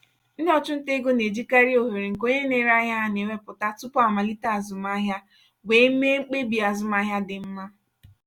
ndị ọchụnta ego na-ejikarị ohere nke onye na-ere ahịa ha na-enweta tupu amalite azụmaahịa were mee mkpebi azụmaahịa dị mma.